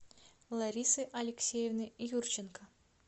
ларисы алексеевны юрченко